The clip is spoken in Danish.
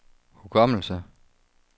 hukommelse